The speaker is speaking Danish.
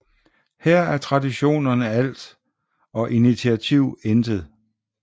Her er traditionerne alt og initiativ intet